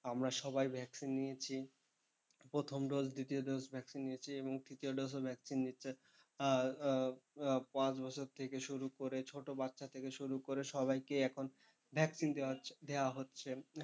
আমরা সবাই vaccine নিয়েছি, প্রথম dose দ্বিতীয় dose vaccine নিয়েছি এবং তৃতীয় dose ও vaccine দিচ্ছে। আর পাঁচ বছর থেকে শুরু করে ছোটবাচ্ছা থেকে শুরু করে সবাইকেই এখন vaccine দেওয়া হচ্ছে।